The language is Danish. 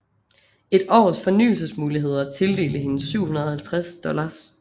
Et års fornyelsesmuligheder tildelte hende 750 dollars